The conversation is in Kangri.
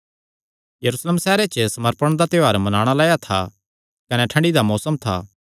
यरूशलेम सैहरे च समर्पण दा त्योहार मनाणा लाया था कने ठंडी दा मौसम था